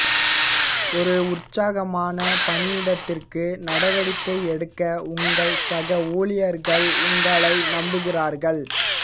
ஒரு உற்சாகமான பணியிடத்திற்கு நடவடிக்கை எடுக்க உங்கள் சக ஊழியர்கள் உங்களை நம்புகிறார்கள்